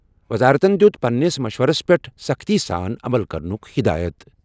وزارتَن دِیُت پننِس مشورَس پٮ۪ٹھ سختی سان عمل کرنُک ہدایت۔